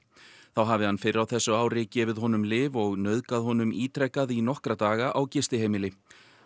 þá hafi hann fyrr á þessu ári gefið honum lyf og nauðgað honum ítrekað í nokkra daga á gistiheimili